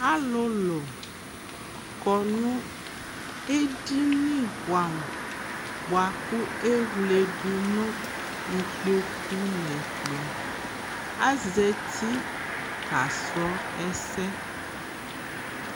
alolo kɔ no edini boɛ amo boa ko ewle do no ikpoku no ɛkplɔ azati kasrɔ ɛsɛ